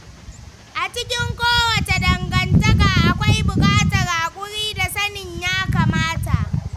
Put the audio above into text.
A cikin kowace dangantaka, akwai bukatar haƙuri da sanin yakamata.